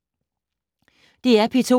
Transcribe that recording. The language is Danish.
DR P2